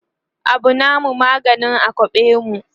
Abu namu maganin a kwaɓe mu